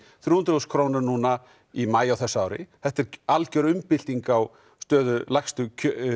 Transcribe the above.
þrjú hundruð þúsund krónur núna í maí á þessu ári þetta er alger umbylting á stöðu lægstu